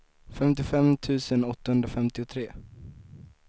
femtiofem tusen åttahundrafemtiotre